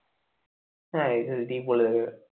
হ্যাঁ SSD বলে দেবে